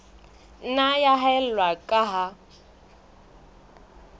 nna ya haella ka ha